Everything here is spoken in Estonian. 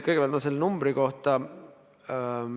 Kõigepealt selle numbri kohta.